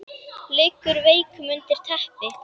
Liggur veikur undir teppi.